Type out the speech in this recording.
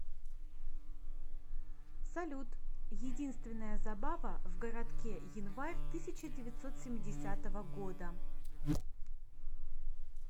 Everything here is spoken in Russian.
салют единственная забава в городке январь тысяча девятьсот семидесятого года